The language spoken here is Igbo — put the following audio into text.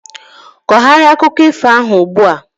kogharịa akụkọ ifo ahu ugbu a!